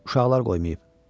Uşaqlar qoymayıb.